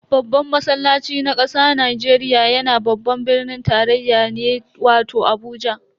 Babban masallaci na kasa Najeriya yana babban birnin tarayya ne wato Abuja.